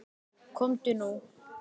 Komdu nú.